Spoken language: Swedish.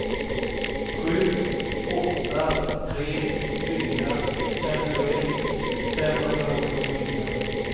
sju åtta tre fyra femtioett femhundraåttiofyra